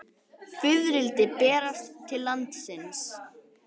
Fiðrildi berast til landsins